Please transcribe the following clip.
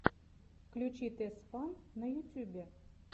включи тесфан на ютюбе